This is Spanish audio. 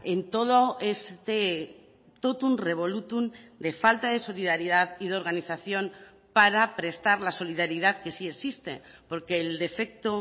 en todo este totum revolutum de falta de solidaridad y de organización para prestar la solidaridad que sí existe porque el defecto